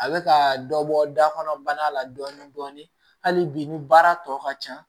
A bɛ ka dɔ bɔ da kɔnɔ bana la dɔɔni dɔɔni hali bi ni baara tɔ ka ca